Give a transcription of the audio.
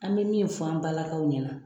An bɛ min fɔ an ba lakaw ɲɛna